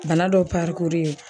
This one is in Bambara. Bana dɔ parikuri